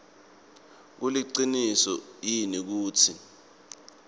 kuliciniso yini kutsi